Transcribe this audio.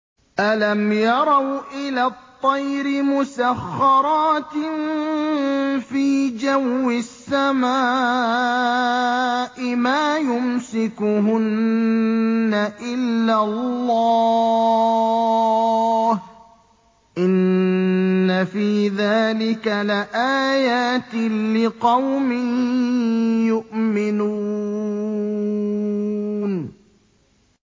أَلَمْ يَرَوْا إِلَى الطَّيْرِ مُسَخَّرَاتٍ فِي جَوِّ السَّمَاءِ مَا يُمْسِكُهُنَّ إِلَّا اللَّهُ ۗ إِنَّ فِي ذَٰلِكَ لَآيَاتٍ لِّقَوْمٍ يُؤْمِنُونَ